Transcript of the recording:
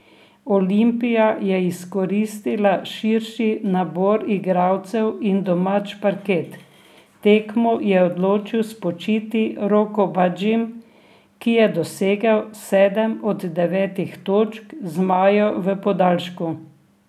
Olimpija je izkoristila širši nabor igralcev in domač parket, tekmo je odločil spočiti Roko Badžim, ki je dosegel sedem od devetih točk zmajev v podaljšku.